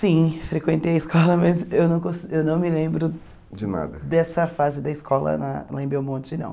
Sim, frequentei a escola, mas eu não cons eu não me lembro de nada dessa fase da escola lá lá em Belmonte, não.